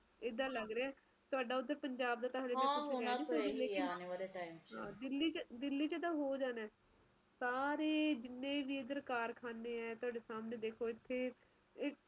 ਇੱਦਾ ਲੱਗ ਰਿਹਾ ਤੁਹਾਡਾ ਓਧਰ ਤਾ ਪੰਜਾਬ ਦਾ ਤਾ ਦਿੱਲੀ ਚ ਤਾ ਹੋ ਜਾਣਾ ਸਾਰੇ ਵੀ ਐਡਰ ਜਿੰਨੇ ਵੀ ਕਾਰਖਾਨੇ ਆ ਤੁਹਾਡੇ ਸਾਮਣੇ ਦੇਖੋ ਇਥੇ